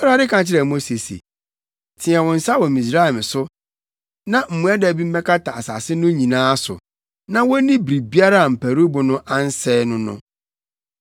Awurade ka kyerɛɛ Mose se, “Teɛ wo nsa wɔ Misraim so na mmoadabi mmɛkata asase no nyinaa so, na wonni biribiara a mparuwbo no ansɛe no no.”